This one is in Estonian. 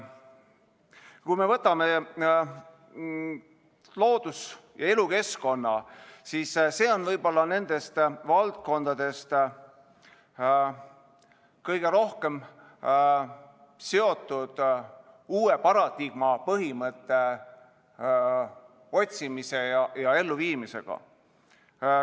Kui me vaatame loodus- ja elukeskkonda, siis see on võib-olla nendest valdkondadest kõige rohkem seotud uue paradigma põhimõtte otsimise ja elluviimisega.